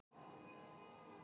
Istanbúl skipt í tvær borgir